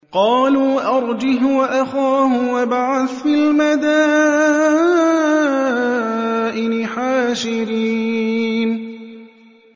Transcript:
قَالُوا أَرْجِهْ وَأَخَاهُ وَابْعَثْ فِي الْمَدَائِنِ حَاشِرِينَ